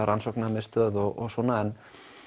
rannsóknarmiðstöð og svona en